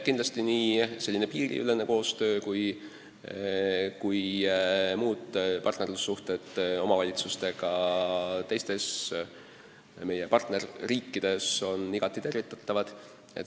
Kindlasti on piiriülene koostöö ja muud partnerlussuhted omavalitsustega meie partnerriikides igati tervitatavad.